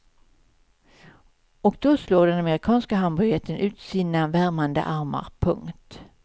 Och då slår den amerikanska hamburgerjätten ut sina värmande armar. punkt